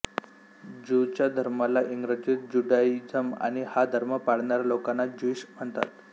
ज्यूंच्या धर्माला इंग्रजीत ज्युडाइझम आणि हा धर्म पाळणाऱ्या लोकांना ज्युइश म्हणतात